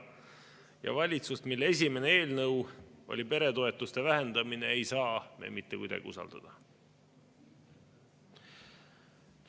Ja valitsust, mille esimene eelnõu oli peretoetuste vähendamine, ei saa me mitte kuidagi usaldada.